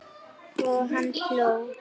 Og hann hló.